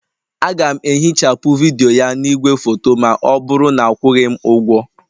Aga m ehichapụ vidiyo a na igwefoto ma ọ bụrụ na akwụghị m ụgwọ